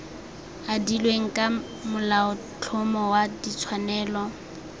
adilweng ka molaotlhomo wa ditshwanelo